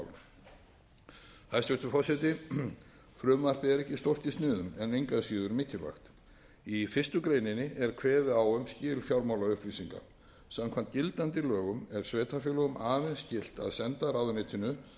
efnahagsmál hæstvirtur forseti frumvarpið er ekki stórt í sniðum en engu að síður mikilvægt í fyrstu greininni er kveðið á um skil fjármálaupplýsinga samkvæmt gildandi lögum er sveitarfélögum aðeins skylt að senda ráðuneytinu